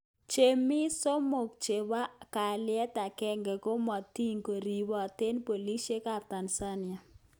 Chomiil 3 chepo aalyet agenge komokotin koripoten Polis eng Tanzania